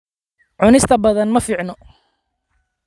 Cunista badan ma fiicna.